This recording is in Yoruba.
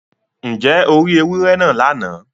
Ǹjẹ́ o rí èwúrẹ̀ náà lána?